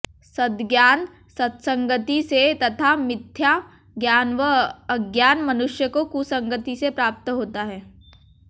सद्ज्ञान सत्संगति से तथा मिथ्या ज्ञान वा अज्ञान मनुष्य को कुसंगति से प्राप्त होता है